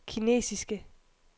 kinesiske